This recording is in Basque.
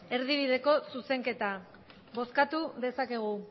erdibideko zuzenketa bozkatu dezakegu